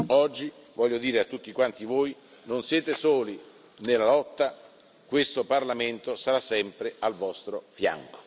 Oggi voglio dire a tutti quanti voi che non siete soli nella lotta questo Parlamento sarà sempre al vostro fianco!